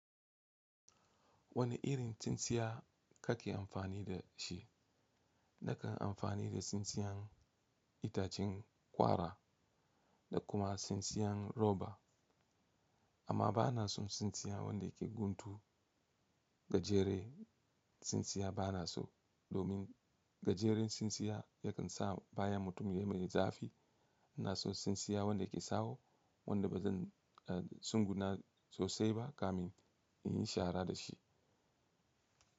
Wane irin tsintsiya ka ke amfani da shi? Na kan amfani da tsintsiyan itacen ƙwara da kuma tsintsiyan roba, amma ba na son tsintsiya wanda ke guntu. Gajere tsintsiya ba na so, domin gajeren tsintsiya ya kan sa baya mutum ya maye zafi. Na so tsintsiya wanda ke sawo, wanda ba zan a sun guna sosai ba kamin in yi shara da shi.